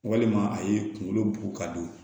Walima a ye kunkolo ka don